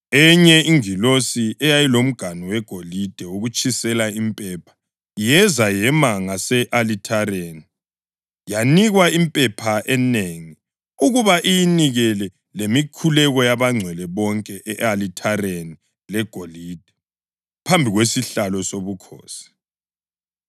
Enye ingilosi eyayilomganu wegolide wokutshisela impepha yeza yema ngase-alithareni. Yanikwa impepha enengi ukuba iyinikele lemikhuleko yabangcwele bonke e-alithareni legolide phambi kwesihlalo sobukhosi.